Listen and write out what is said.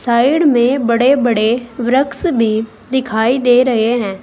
Side में बड़े बड़े वृक्ष भी दिखाई दे रहे हैं।